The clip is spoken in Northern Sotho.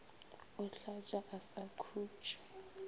o hlatša a sa khutše